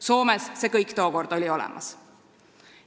Soomes oli see kõik tookord olemas.